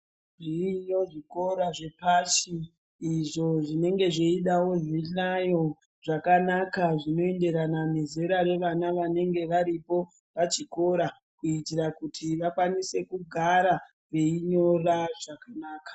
Zviriyo zvikora zvepashi izvo zvinenge zveidawo zvihlayo zvakanaka zvinoenderana nevana vanenge varipo pachikora kuitira kuti vakwanise kugara veinyora zvakanaka.